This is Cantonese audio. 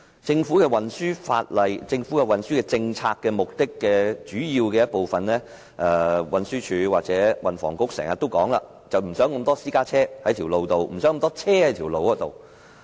政府運輸政策的主要目標之一，是運輸署和運輸及房屋局經常強調的減少路面上的私家車，減少路面上的車輛。